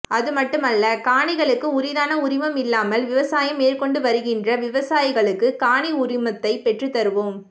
அதுமட்டுமல்ல காணிகளுக்கு உரித்தான உரிமம் இல்லாமல் விவசாயம் மேற்கொண்டுவருகின்ற விவசாயிகளுக்கு காணி உரிமத்தை பெற்றுத்தருவோம்